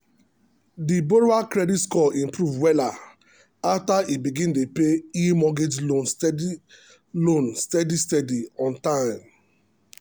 the borrower credit score improve wella after e begin dey pay e mortgage loan steady loan steady steady on time.